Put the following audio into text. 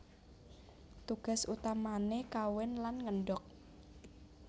Tugas utamané kawin lan ngendhog